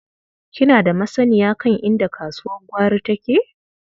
Kina da masanniya kan inda kasuwar gwari take?